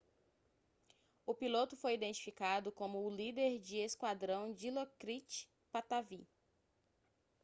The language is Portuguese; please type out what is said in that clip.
o piloto foi identificado como o líder de esquadrão dilokrit pattavee